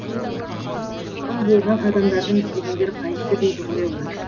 сол болған адамдардың істегендері қайсы дейді ғой олар